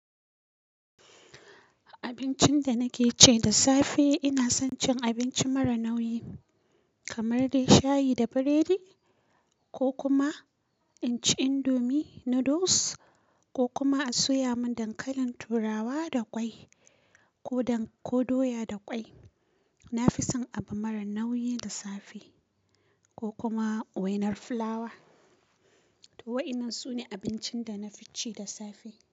Abincin da nake ci da safe, ina son cin abinci mara nauyi kamar dai shayi da biredi ko kuma in ci indomie noodles ko kuma a soya mun dankalin turawa da ƙwai ko doya da ƙwai. Na fi son abu mara nauyi da safe ko kuma wainar fulawa. To wa'inan su ne abincin da na fi ci da safe.